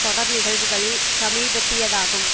தொடர் நிகழ்வுகளில் சமீபத்தியதாகும்